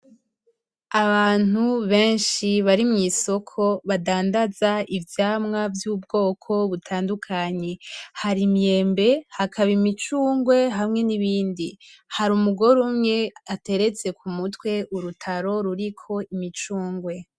Abantu benshi bari mwisoko badandaza ivyamwa vy'ubwoko butandukanye hari imyembe, hakaba imicugwe, hamwe n'ibindi hari umugore umwe ateretse ku mutwe urutaro ruriko imicunge.